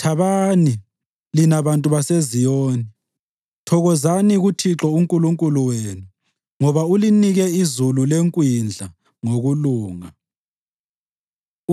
Thabani, lina bantu baseZiyoni, thokozani kuThixo uNkulunkulu wenu ngoba ulinike izulu lekwindla ngokulunga.